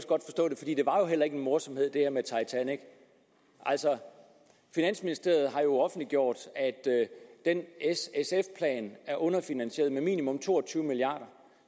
et eller jo heller ikke en morsomhed altså finansministeriet har jo offentliggjort at s sf planen er underfinansieret med minimum to og tyve milliard